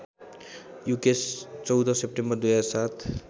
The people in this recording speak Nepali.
युकेश १४ सेप्टेम्बर २००७